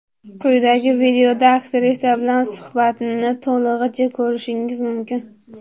Quyidagi videoda aktrisa bilan suhbatni to‘lig‘icha ko‘rishingiz mumkin.